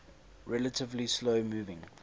relatively slow moving